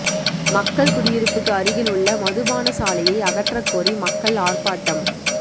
மக்கள் குடியிருப்புக்கு அருகில் உள்ள மதுபானசாலையை அகற்றக்கோரி மக்கள் ஆர்ப்பாட்டம்